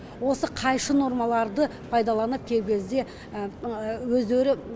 осы қайшы нормаларды пайдаланып кей кезде өздері